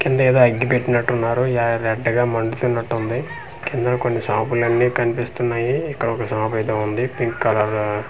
కిందేదో అగ్గి పెట్టినట్టున్నారు యయ రెడ్ గా మండుతున్నట్టుంది కింద కొన్ని షాప్ లన్ని కన్పిస్తున్నాయి ఇక్కడొక షాప్ అయితే వుంది పింక్ కలర్ --